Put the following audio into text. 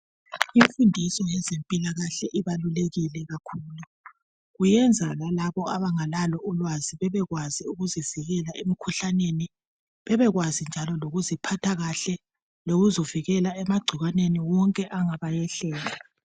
Imfundiso yezempilakahle ibalulekile kakhulu . Okuyenza lalabo abangalalo ulwazi bebekwazi ukuzivikela emkhuhlaneni. Bebekwazi njalo lokuziphatha kahle lokuzivikela emagcikwaneni wonke angabayehlela.